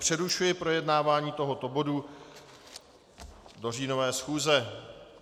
Přerušuji projednávání tohoto bodu do říjnové schůze.